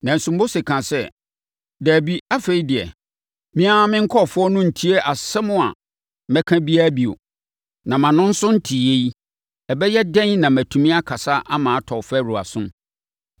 Nanso, Mose kaa sɛ, “Dabi, afei deɛ, me ara me nkurɔfoɔ no rentie asɛm a mɛka biara bio. Na mʼano nso nteeɛ yi, ɛbɛyɛ dɛn na matumi akasa ama atɔ Farao asom?”